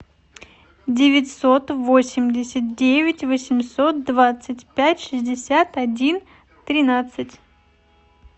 девятьсот восемьдесят девять восемьсот двадцать пять шестьдесят один тринадцать